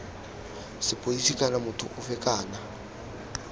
sepodisi kana motho ofe kana